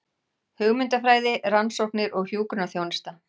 Hugmyndafræði, rannsóknir og hjúkrunarþjónusta.